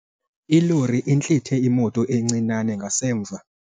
Ilori intlithe imoto encinane ngasemva.